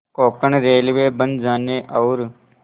Konkan railway बन जाने और